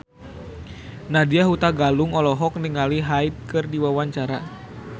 Nadya Hutagalung olohok ningali Hyde keur diwawancara